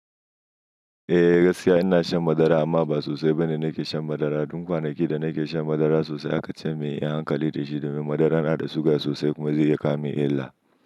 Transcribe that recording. Eh gaskiya ina shan madara amma ba sosai ba ne nake shan madara. Tun kwanaki da nake shan madara sosai aka ce min in yi hankali da shi domin madaran na da suga sosai kuma zai iya kawo min illa.